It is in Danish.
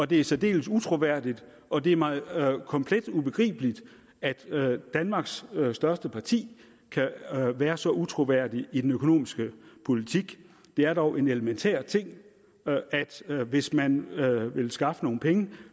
det er særdeles utroværdigt og det er mig komplet ubegribeligt at danmarks største parti kan være så utroværdigt i den økonomiske politik det er dog en elementær ting at hvis man vil skaffe nogle penge